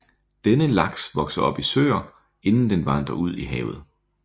Denne laks vokser op i søer inden den vandrer ud i havet